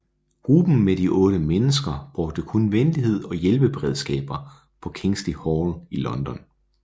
Gruppen med de otte mennesker brugte kun venlighed og hjælpeberedskaber på Kingsley Hall i London